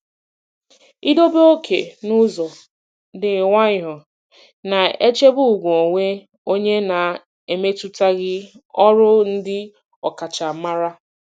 Idobe oke n'ụzọ dị nwayọọ na-echebe ùgwù onwe onye na-emetụtaghị ọrụ ndị ọkachamara.